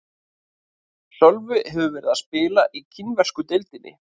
Sölvi hefur verið að spila í kínversku deildinni.